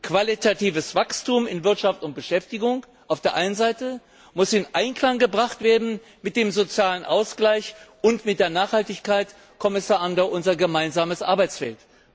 Qualitatives Wachstum in Wirtschaft und Beschäftigung auf der einen Seite muss in Einklang gebracht werden mit dem sozialen Ausgleich und mit der Nachhaltigkeit, Kommissar Andor, unser gemeinsames Arbeitsfeld!